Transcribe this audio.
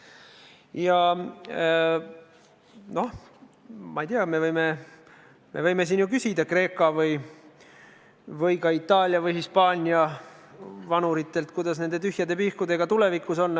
Ja noh, ma ei tea, me võime ju küsida Kreeka või Itaalia või Hispaania vanuritelt, kuidas nende tühjade pihkudega tulevikus on.